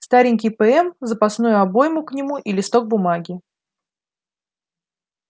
старенький пм запасную обойму к нему и листок бумаги